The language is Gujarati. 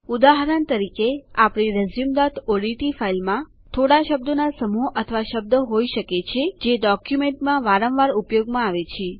ઉદાહરણ તરીકે આપણી resumeઓડીટી ફાઈલમાં થોડા શબ્દોના સમૂહ અથવા શબ્દ હોઈ શકે છે જે ડોક્યુમેન્ટમાં વારંવાર ઉપયોગમાં આવે છે